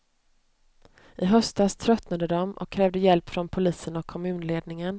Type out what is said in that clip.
I höstas tröttnade de och krävde hjälp från polisen och kommunledningen.